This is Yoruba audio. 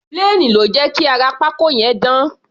Plane ló jẹ́ kí ara pákó yẹn dán.